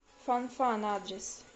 фанфан адрес